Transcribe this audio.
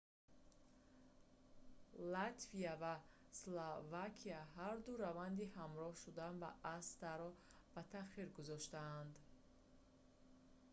латвия ва словакия ҳарду раванди ҳамроҳ шудан ба аста-ро ба таъхир гузоштанд